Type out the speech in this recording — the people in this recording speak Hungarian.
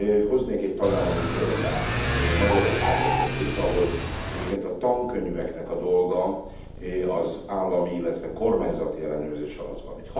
Hoznék egy tagállami példát, Magyarország estét, ahol egyébként a tankönyveknek a dolga az állami, illetve kormányzati ellenőrzés alatt van.